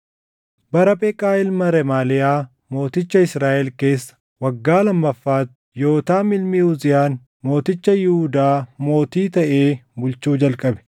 Bara Pheqaa ilma Remaaliyaa mooticha Israaʼel keessa waggaa lammaffaatti Yootaam ilmi Uziyaan mooticha Yihuudaa mootii taʼee bulchuu jalqabe.